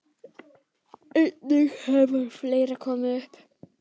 Einnig hefur fleira komið upp.